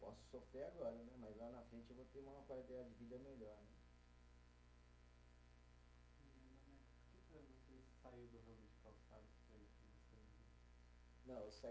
Posso sofrer agora né, mas lá na frente eu vou ter uma qualidade de vida melhor.